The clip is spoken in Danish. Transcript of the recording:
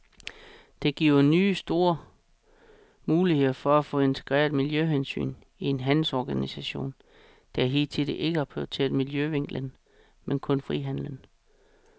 Dette giver nye store muligheder for at få integreret miljøhensyn i en handelsorganisation, der hidtil ikke har prioriteret miljøvinklen, men kun frihandlen.